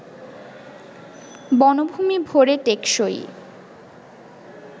বনভূমি ভরে টেকসই